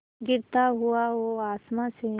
गिरता हुआ वो आसमां से